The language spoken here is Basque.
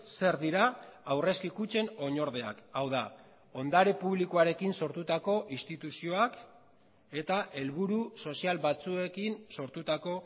zer dira aurrezki kutxen oinordeak hau da ondare publikoarekin sortutako instituzioak eta helburu sozial batzuekin sortutako